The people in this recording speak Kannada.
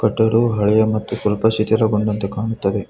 ಎರಡು ಹಳೆಯ ಸ್ವಲ್ಪ ಶಿತಿಲಗೊಂಡಂತೆ ಕಾಣಿಸುತ್ತದೆ.